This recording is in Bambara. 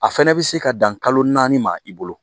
A fɛnɛ bɛ se ka dan kalo naani ma i bolo